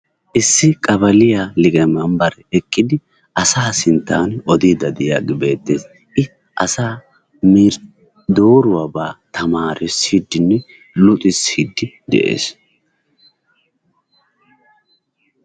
Issi qabaaliya liqamambare eqqidi asa sinttan odiiddi de'iyagee beetees. I asaa dooruwaba tamaarissiidi luxissidi de'ees.